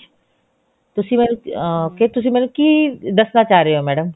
ਤੁਸੀਂ ਮੈਨੂੰ ah ਫ਼ੇਰ ਤੁਸੀਂ ਮੈਨੂੰ ਕੀ ਦੱਸਣਾ ਚਾਹ ਰਹੇ ਹੋ madam